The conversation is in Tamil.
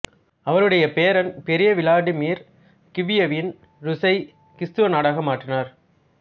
அவருடைய பேரன் பெரிய விளாடிமிர் கீவ்வியன் ரூசை கிறித்தவ நாடாக மாற்றினார்